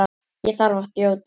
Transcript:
Ég þarf að þjóta.